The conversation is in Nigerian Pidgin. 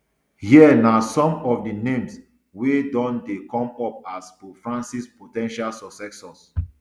here na some of di names wey don dey come up as pope francis po ten tial successor